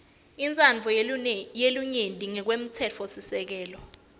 intsandvo yelinyenti ngekwemtsetfosisekelo